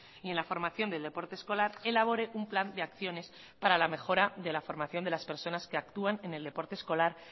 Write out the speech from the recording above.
y en la formación del deporte escolar elabore un plan de acciones para la mejora de la formación de las personas que actúan en el deporte escolar